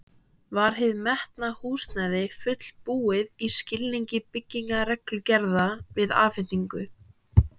Var hið metna húsnæði fullbúið í skilningi byggingarreglugerða við afhendingu?